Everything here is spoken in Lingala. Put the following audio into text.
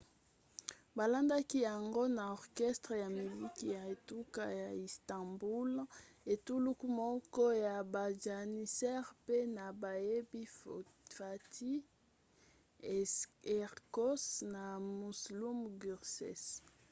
balandaki yango na orchestre ya miziki ya etuka ya istanbul etuluku moko ya bajanissaires mpe na bayembi fatih erkoç na müslüm gürses